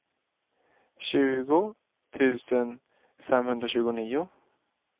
tjugo tusen femhundratjugonio